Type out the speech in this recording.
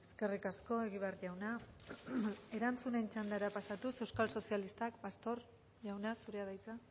eskerrik asko egibar jauna erantzunen txandara pasatuz euskal sozialistak pastor jauna zurea da hitza